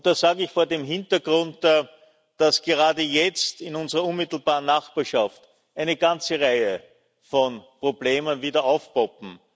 Das sage ich vor dem Hintergrund, dass gerade jetzt in unserer unmittelbaren Nachbarschaft eine ganze Reihe von Problemen wieder aufpoppen.